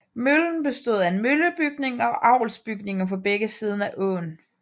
Møllen bestod af en møllebygning og avlsbygninger på begge sider af åën